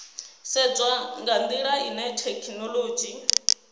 sedzwa nga ndila ine thekhinolodzhi